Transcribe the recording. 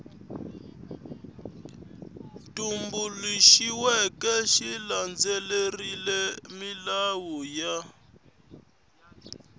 tumbuluxiweke xi landzelerile milawu ya